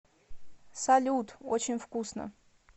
салют очень вкусно